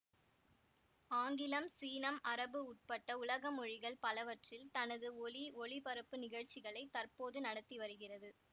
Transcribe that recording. ஆங்கிலம் சீனம் அரபு உட்பட்ட உலக மொழிகள் பலவற்றில் தனது ஒலிஒளிபரப்பு நிகழ்ச்சிகளை தற்போது நடத்தி வருகிறது